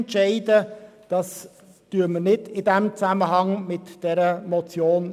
Das entscheiden wir nicht auch noch gerade zusammen mit dieser Motion.